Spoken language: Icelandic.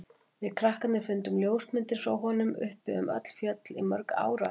Við krakkarnir fundum ljósmyndir frá honum uppi um öll fjöll í mörg ár á eftir.